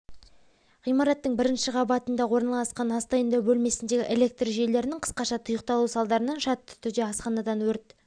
ғимараттың бірінші қабатында орналасқан ас дайындау бөлмесіндегі электр жүйелерінің қысқаша тұйықталу салдарынан шартты түрде асханадан өрт